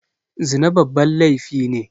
Zina babban laifi ne